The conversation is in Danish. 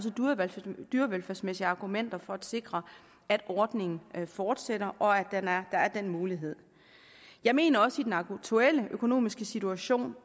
dyrevelfærdsmæssige argumenter for at sikre at ordningen fortsætter og at der er den mulighed jeg mener også i den aktuelle økonomiske situation